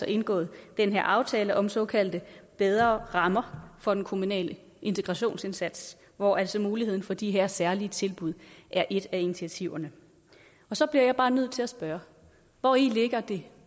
indgået den her aftale om såkaldte bedre rammer for den kommunale integrationsindsats hvor altså muligheden for de her særlige tilbud er et af initiativerne så bliver jeg bare nødt til at spørge hvori det